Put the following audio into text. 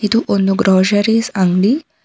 ಇದು ಒಂದು ಗ್ರೋಸರಿಸ್ ಅಂಗಡಿ.